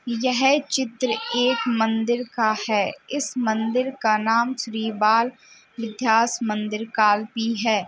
यह चित्र एक मंदिर का है। इस मंदिर का नाम श्री बाल मिथ्यास मंदिर काल्पी है।